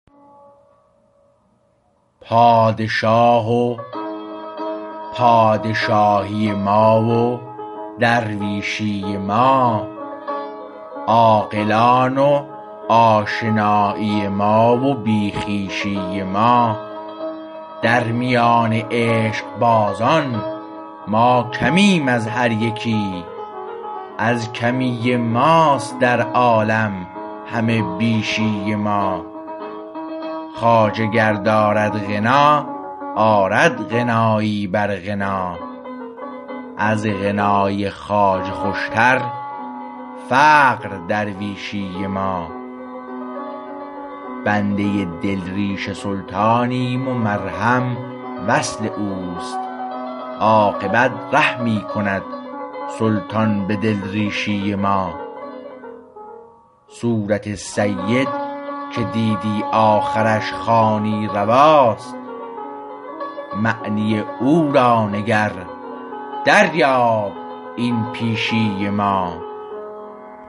پادشاه و پادشاهی ما و درویشی ما عاقلان و آشنایی ما و بی خویشی ما در میان عشقبازان ما کمیم از هر یکی از کمی ماست در عالم همه بیشی ما خواجه گر دارد غنا آرد غنایی بر غنا از غنای خواجه خوشتر فقر درویشی ما بنده دلریش سلطانیم و مرهم وصل اوست عاقبت رحمی کند سلطان به دلریشی ما صورت سید که دیدی آخرش خوانی رواست معنی او را نگر دریاب این پیشی ما